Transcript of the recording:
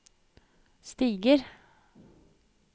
stiger